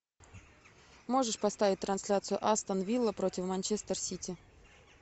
можешь поставить трансляцию астон вилла против манчестер сити